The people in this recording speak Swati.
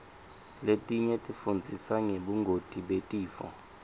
letinye tifundzisa ngebungoti betifo